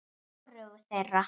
Hvorugu þeirra.